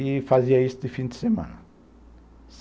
E fazia isso de fim de semana.